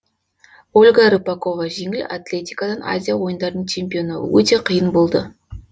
ольга рыпакова жеңіл атлетикадан азия ойындарының чемпионы өте қиын болды